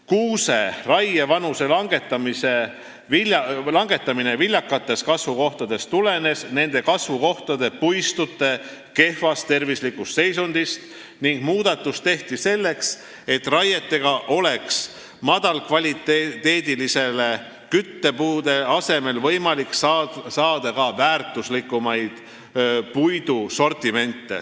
Kuuse raievanuse langetamine viljakates kasvukohtades tulenes nende kasvukohtade puistute kehvast tervislikust seisundist ning muudatus tehti selleks, et raietega oleks madala kvaliteediga küttepuude asemel võimalik saada ka väärtuslikumat puitu.